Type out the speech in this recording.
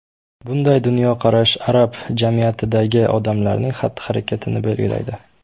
Bunday dunyoqarash arab jamiyatidagi odamlarning xatti-harakatini belgilaydi.